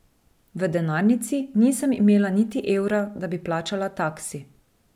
V denarnici nisem imela niti evra, da bi plačala taksi.